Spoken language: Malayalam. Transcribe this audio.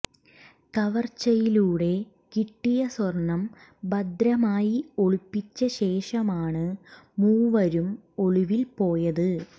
കവർച്ചയിലൂടെ കിട്ടിയ സ്വർണം ഭദ്രമായി ഒളിപ്പിച്ച ശേഷമാണ് മൂവരും ഒളിവിൽ പോയത്